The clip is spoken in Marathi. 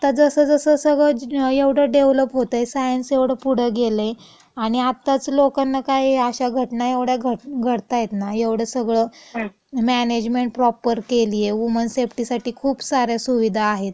पण आता जसं जसं सगळं एवढं डेव्हलप होतय, सायन्स एवढं पुढं गेलयं आणि आत्ताच लोकांना काय अशा घटना एवढ्या घडतायेत ना, एवढं सगळं मॅनेजमेंट प्रॉपर केलीये, वुमन सेफ्टीसाठी खुप साऱ्या सुविधा आहेत,